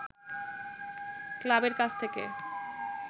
ক্লাবের কাছ থেকে